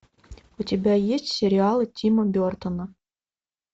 у тебя есть сериалы тима бертона